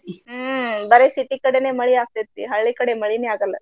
ಹ್ಮ ಬರೆ city ಕಡೆನೆ ಮಳಿ ಆಗ್ತೆತಿ ಹಳ್ಳಿ ಕಡೆ ಮಳಿನ ಆಗಲ್ಲ.